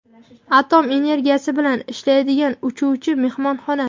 atom energiyasi bilan ishlaydigan uchuvchi mehmonxona.